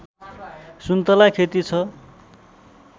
सुन्तला खेति छ